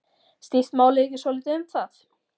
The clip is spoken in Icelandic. Snýst málið ekki svolítið um það?